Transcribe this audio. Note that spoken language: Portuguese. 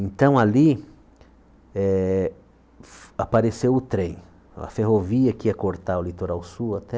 Então ali eh apareceu o trem, a ferrovia que ia cortar o litoral sul até